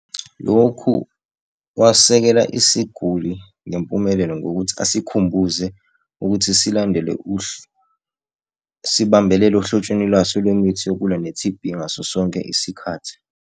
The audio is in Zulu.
Lokhu wasekela isiguli ngempumelelo ngokuthi asikhumbuze ukuthi silandele sibambelele ohlotsheni lwaso lemithi yokulwa ne-T_B ngaso sonke isikhathi.